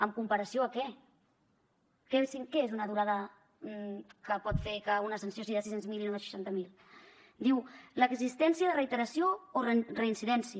en comparació amb què què és una durada que pot fer que una sanció sigui de sis cents miler i no de seixanta mil diu l’existència de reiteració o reincidència